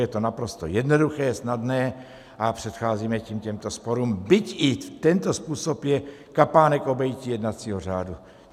Je to naprosto jednoduché, snadné a předcházíme tím těmto sporům, byť i tento způsob je kapánek obejití jednacího řádu.